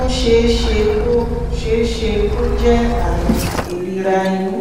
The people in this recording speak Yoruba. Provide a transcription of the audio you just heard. ó ṣeé ṣe kó ṣeé ṣe kó jẹ́ ààrùn ìríra inú